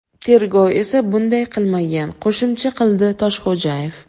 Tergov esa bunday qilmagan”, qo‘shimcha qildi Toshxo‘jayev.